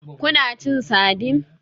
Kuna cin sardine?